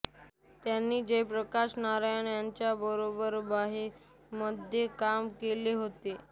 त्यांनी जयप्रकाश नारायण यांच्याबरोबर बिहारमध्ये काम केले होते